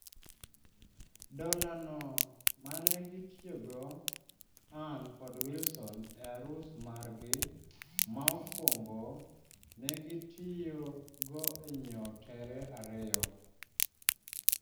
Dola no mane gitiyo go Anne kod Wilson e arus margi ma okwongo ne gitiyo go e nyiewo tere ariyo